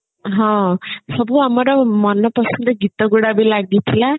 ହଁ ସବୁ ଆମର ମନପସନ୍ଦର ଗୀତ ଗୁଡା ବି ଲାଗିଥିଲା